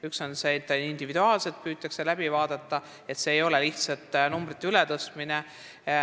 Üks on see, et individuaalselt püütakse kõike läbi vaadata, see ei ole lihtsalt mingite numbrite ületõstmine.